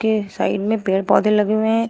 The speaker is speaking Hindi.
ये साइड में पेड़ पौधे लगे हुए है।